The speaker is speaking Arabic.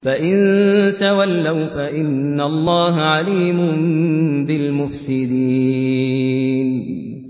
فَإِن تَوَلَّوْا فَإِنَّ اللَّهَ عَلِيمٌ بِالْمُفْسِدِينَ